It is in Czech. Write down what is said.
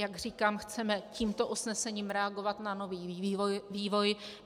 Jak říkám, chceme tímto usnesením reagovat na nový vývoj.